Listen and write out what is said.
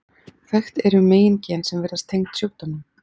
þekkt eru meingen sem virðast tengd sjúkdómnum